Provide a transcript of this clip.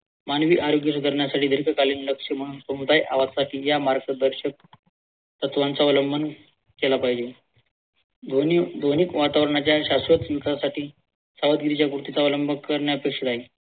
मानवी आरोग्य सुधारण्यासाठी दीर्घकालीन लक्ष म्हणून समुदाय आवाजसाठी या मार्गदर्शक तत्वांचा अवलंबन केला पाहिजे ध्वनी ध्वनी वातावरणाच्या शाश्वत विकासासाठी सावधगिरीच्या पूर्तीचा अवलंब करण्या